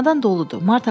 Çamadan doludur.